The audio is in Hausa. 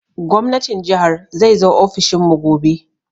Gwamnatin jihar zai zo ofishin mu gobe